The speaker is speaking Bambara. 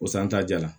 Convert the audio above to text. O sa an ta ja